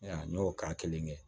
N y'o k'a kelen kɛ